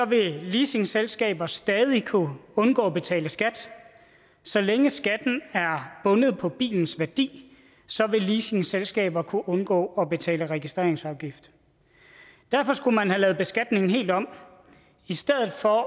vil leasingselskaber stadig kunne undgå at betale skat så længe skatten er bundet på bilens værdi vil leasingselskaber kunne undgå at betale registreringsafgift derfor skulle man have lavet beskatningen helt om i stedet for